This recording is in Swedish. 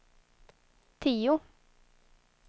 tio